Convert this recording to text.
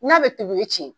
N'a bɛ pipiniyɛri tiɲɛ